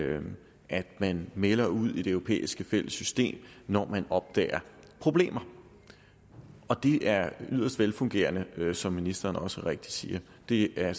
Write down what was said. at man melder ud i det europæiske fælles system når man opdager problemer det er yderst velfungerende som ministeren også rigtigt siger det er